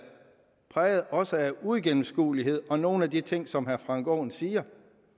præget også af uigennemskuelighed og af nogle af de ting som herre frank aaen siger